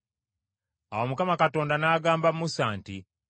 Awo Mukama Katonda n’agamba Musa nti,